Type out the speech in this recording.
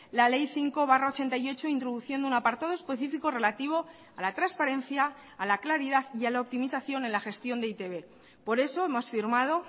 la ley cinco barra ochenta y ocho introduciendo un apartado específico relativo a la transparencia a la claridad y a la optimización en la gestión de e i te be por eso hemos firmado